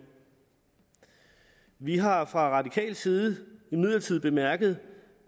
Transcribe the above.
vi har fra radikal side imidlertid bemærket